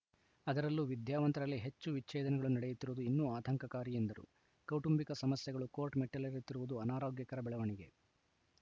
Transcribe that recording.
ಅದರಲ್ಲೂ ವಿದ್ಯಾವಂತರಲ್ಲೇ ಹೆಚ್ಚು ವಿಚ್ಛೇದನಗಳು ನಡೆಯುತ್ತಿರುವುದು ಇನ್ನೂ ಆತಂಕಕಾರಿ ಎಂದರು ಕೌಟುಂಬಿಕ ಸಮಸ್ಯೆಗಳು ಕೋರ್ಟ್‌ ಮೆಟ್ಟಿಲೇರುತ್ತಿರುವುದು ಅನಾರೋಗ್ಯಕರ ಬೆಳವಣಿಗೆ